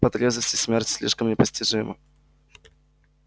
по трезвости смерть слишком непостижима